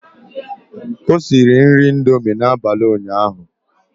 O siri nri indomie n'abalị ụnyaahụ.